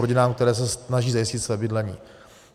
Rodinám, které se snaží zajistit své bydlení.